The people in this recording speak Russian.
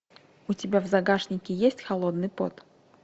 у тебя в загашнике есть холодный пот